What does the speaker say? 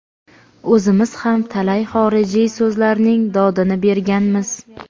O‘zimiz ham talay xorijiy so‘zlarning dodini berganmiz.